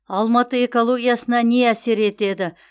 алматы экологиясына не әсер етеді